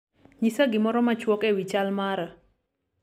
nyisa gimoro machwok ewi chal mara